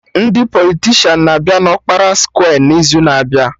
Ndị politishan na-abịa na ọkpara skwe n'izu na-abịa